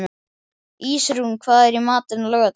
Ísrún, hvað er í matinn á laugardaginn?